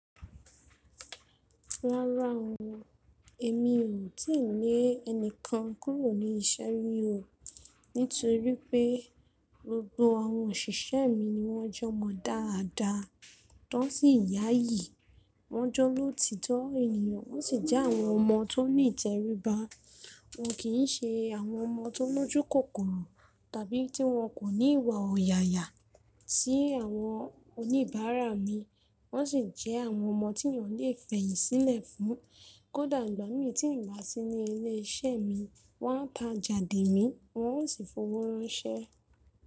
Rárá o, èmi ò tí ì lé ẹnìkan kúrò ní iṣẹ́ rí o, nítorí pé gbogbo àwọn òṣìṣẹ́ mi ni wọ́n jọmọ́ dáadáa, wọ́n sì yáyìí, wọ́n jẹ́ olóòótọ ènìyàn, wọ́n sì jẹ́ àwọn ọmọ tó nìtẹríba. Wọn kì í ṣe àwọn ọmọ tó lójú kòkòrò tàbí tí wọn kò ní ìwà ọ̀yààyà sí àwọn oníbàárà mi. Wọ́n sì jẹ́ àwọn ọmọ tí ènìyàn lè fẹ̀yìnsílẹ̀ fún. Kódà ìgbà m í tí n bà sí ní ilé iṣẹ́ mi, wọ́n á ta jàde mi, wọn ó sì fowó ránṣẹ́.